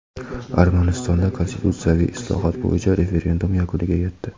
Armanistonda konstitutsiyaviy islohot bo‘yicha referendum yakuniga yetdi.